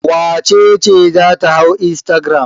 Wace ce za ta hau instagram?